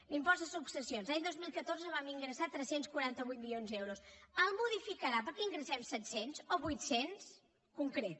l’impost de successions l’any dos mil catorze vam ingressar tres cents i quaranta vuit milions d’euros el modificarà perquè n’ingressem set cents o vuit cents concret